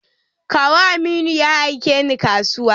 Kawu Aminu ya aike ni kasuwa.